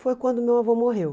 Foi quando meu avô morreu.